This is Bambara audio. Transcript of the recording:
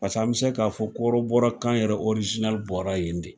Pase an bɛ se k'a fɔ ko kɔrɔbɔrɔkan yɛrɛ bɔra yen de.